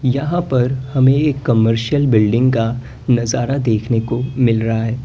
यहां पर हमें एक कमर्शियल बिल्डिंग का नजारा देखने को मिल रहा है।